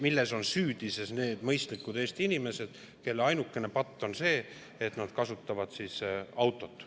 Milles on süüdi need mõistlikud Eesti inimesed, kelle ainukene patt on see, et nad kasutavad autot?